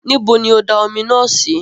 Nibo ni ó da omi naa sì?